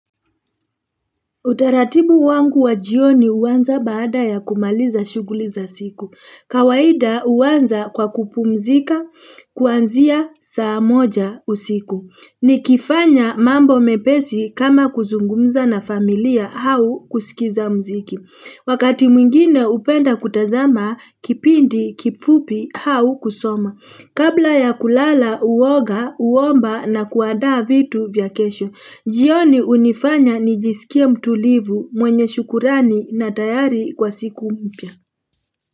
Utaratibu wangu wa jioni huanza baada ya kumaliza shughuli za siku. Kawaida uwanza kwa kupumzika, kuanzia saa moja usiku. Ni kifanya mambo mepesi kama kuzungumza na familia au kusikiza mziki. Wakati mwingine hupenda kutazama, kipindi, kifupi hau kusoma. Kabla ya kulala, uwoga, uwomba na kuandaa vitu vya kesho. Jioni unifanya nijisikia mtulivu mwenye shukurani na tayari kwa siku mpya.